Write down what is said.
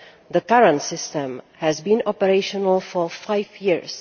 The current system has been operational for five years.